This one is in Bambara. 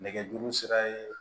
Nɛgɛjuru sira ye